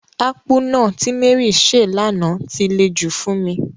Akpu náà ti Mary se lana ti le jù fún mi.